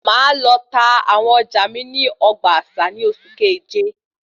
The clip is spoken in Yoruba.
Máa lọ tá àwọn ọjà mí ní ogbà àṣà ní oṣù keje